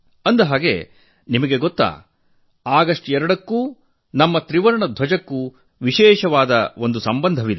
ಅಂದಹಾಗೆ ನಿಮಗೆ ಗೊತ್ತೇ ಆಗಸ್ಟ್ 2ಕ್ಕೂ ನಮ್ಮ ತ್ರಿವರ್ಣ ಧ್ವಜಕ್ಕೂ ವಿಶೇಷ ಸಂಬಂಧವಿದೆ